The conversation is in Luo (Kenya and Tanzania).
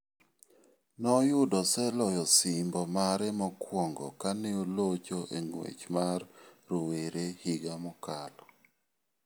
Noyudo oseloyo osimbo mare mokwongo kane olocho e ng'wech mar rowere higa mokalo.